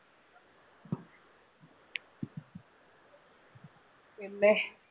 പിന്നെ